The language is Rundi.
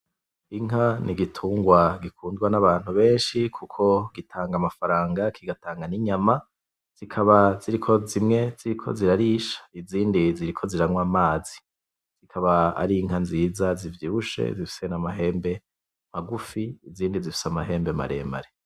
Inka n'igitungwa gikundwa n'abantu beshi kuko gitanga amafaranga kigatanga n'inyama zikaba kuko zimwe ziriko zirarisha izindi ziriko ziranwa amazi zikaba arinka nziza zivyibushe zifise n'amahembe magufi izindi zifise amahembe maremare.